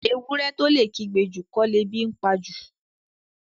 Ewúrẹ́ tó lè kígbe jù kọ́ lebi ńpa jù.